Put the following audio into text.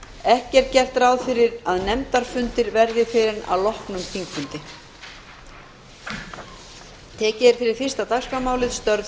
ekki er gert ráð fyrir að nefndafundir verði fyrr en að loknum þingfundi